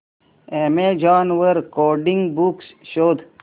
Amazon वर coding books शोधा